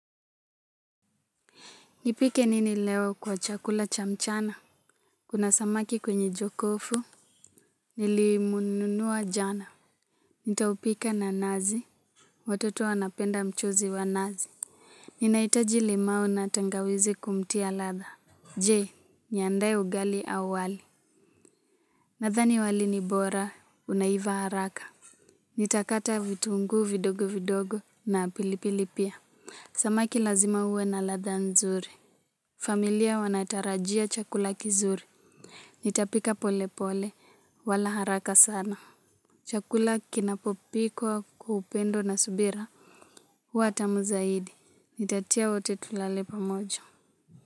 Nipike nini leo kwa chakula cha mchana? Kuna samaki kwenye jokofu. Nilimnunua jana. Nitampika na nazi. Watoto wanapenda mchuzi wa nazi. Ninaitaji limau na tangawizi kumtia ladha. Je, niandae ugali au wali. Nadhani wali ni bora, unaiva haraka. Nitakata vitunguu vidogo vidogo na pilipili pia. Samaki lazima uwe na ladha nzuri. Familia wanatarajia chakula kizuri. Nitapika pole pole wala haraka sana chakula kinapopikwa kwa upendo na subira watamu zaidi nitatia wote tulale pamoja.